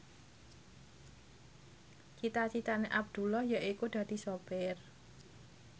cita citane Abdullah yaiku dadi sopir